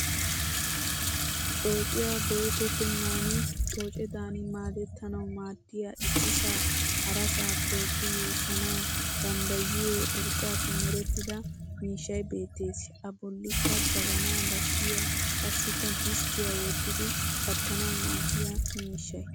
Coociya go'ettettennan coocedan maadettanawu maaddiya issisaa harasaa tookki yuushshanawu danddayiyoo urqqaappe merettida miishshay beettes. A bollikka jabanaa bashiya qassikka disttiya wottidi kattanawu maaddiya mishshay.